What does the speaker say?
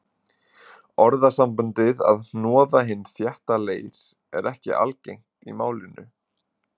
Orðasambandið að hnoða hinn þétta leir er ekki algengt í málinu.